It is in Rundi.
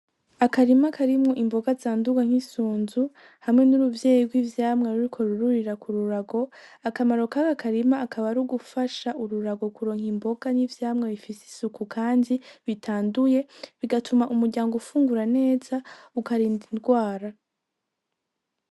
Akarima karimwo imboga zandurwa nk'isunzu, hamwe n'uruvyeyi rw'ivyamwa ruriko rururira k'ururago, akamaro kaka karima akaba ari gufasha ururago kuronka imboga n'ivyamwa bifise isuku kandi bitanduye, bigatuma umuryango ufungura neza ukarinda indwara.